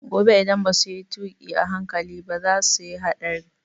Gobe idan basu yi tuƙi a hankali ba za su yi hatsari